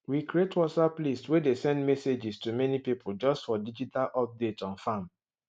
we create whatsapp list way dey send messages to many people just for digital update on farm